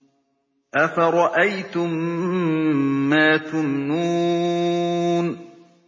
أَفَرَأَيْتُم مَّا تُمْنُونَ